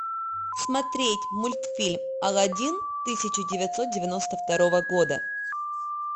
смотреть мультфильм алладин тысяча девятьсот девяносто второго года